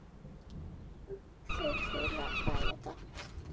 Þeir félagar hlæja dátt.